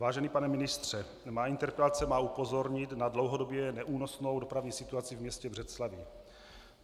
Vážený pane ministře, má interpelace má upozornit na dlouhodobě neúnosnou dopravní situaci v městě Břeclavi.